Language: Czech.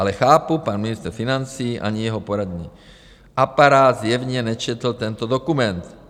Ale chápu, pan ministr financí ani jeho poradní aparát zjevně nečetli tento dokument.